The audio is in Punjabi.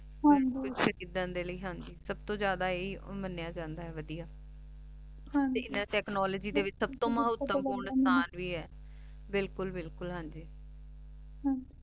ਸਬ ਕੁਛ ਏਦਾਂ ਦੇ ਲੈ ਹਾਂਜੀ ਸਬ ਤੋਂ ਜਿਆਦਾ ਈਯ ਈ ਮਾਨ੍ਯ ਜਾਂਦਾ ਆਯ ਵਾਦਿਯ ਹਾਂਜੀ ਤੇ ਇਨਾਂ ਤੇਚ੍ਨੋਲੋਗ੍ਯ ਦੇ ਵਿਚ ਸਬ ਤੋਂ ਮਹਤਵ ਪੂਰਨ ਅਸਥਾਨ ਵੀ ਆਯ ਬਿਲਕੁਲ ਬਿਲਕੁਲ ਹਾਂਜੀ ਹਾਂਜੀ